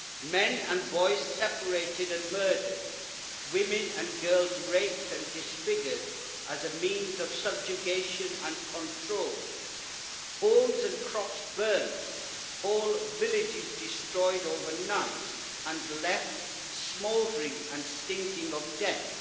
Men and boys separated and murdered, women and girls raped and disfigured as a means of subjugation and control, homes and crops burnt, whole villages destroyed overnight and left smouldering and stinking of death.